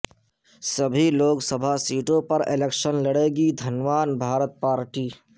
سبھی لوک سبھا سیٹوں پر الیکشن لڑے گی دھنوان بھارت پارٹی